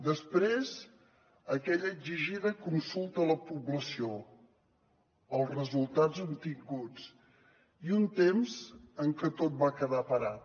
després aquella exigida consulta a la població els resultats obtinguts i un temps en què tot va quedar parat